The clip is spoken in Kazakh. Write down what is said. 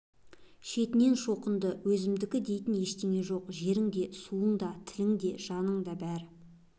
шетінен шоқынды өзімдікі дейтін ештеңе жоқ жерің де суың да тілің де жаның да бәрі